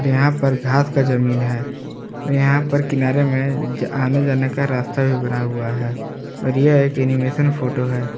यहां पर घास का जमीन हैं और यहां पर किनारे में आने जाने का रास्ता भी बना हुआ है और यह एक एनिमेशन फोटो है।